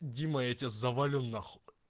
дима я тебя завалю нахуй